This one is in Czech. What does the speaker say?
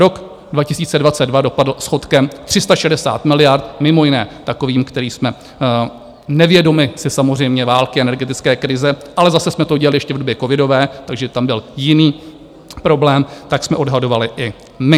Rok 2022 dopadl schodkem 360 miliard, mimo jiné takovým, který jsme - nevědomi si samozřejmě války, energetické krize, ale zase jsme to dělali ještě v době covidové, takže tam byl jiný problém, tak jsme odhadovali i my.